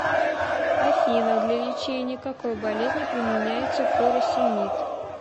афина для лечения какой болезни применяется фуросемид